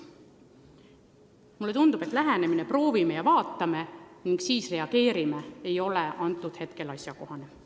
Mulle tundub, et lähenemine "proovime ja vaatame ning siis reageerime" ei ole praegu asjakohane.